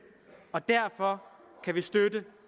og derfor kan vi støtte